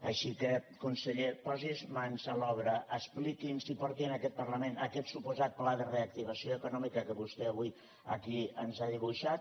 així que conseller posi’s mans a l’obra expliqui’ns i porti en aquest parlament aquest suposat pla de reactivació econòmica que vostè avui aquí ens ha dibuixat